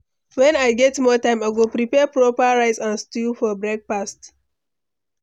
When I get more time, I go prepare proper rice and stew for breakfast.